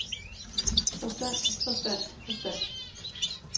forstand forstand forstand